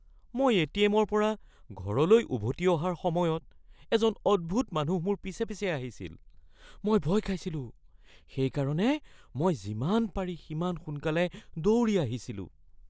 মই এ.টি.এম.ৰ পৰা ঘৰলৈ উভতি অহাৰ সময়ত এজন অদ্ভূত মানুহ মোৰ পিছে পিছে আহিছিল। মই ভয় খাইছিলোঁ, সেইকাৰণে মই যিমান পাৰি সিমান সোনকালে দৌৰি আহিছিলোঁ।